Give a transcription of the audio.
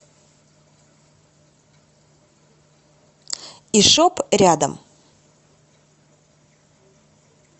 ишоп рядом